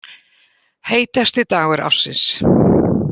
Heitasti dagur ársins